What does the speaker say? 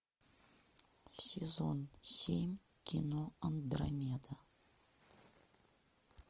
сезон семь кино андромеда